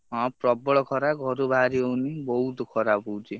ହଁ ପ୍ରବଳ ଖରା ଘରୁ ବାହାରି ହଉନି ବହୁତ୍ ଖରା ହଉଛି।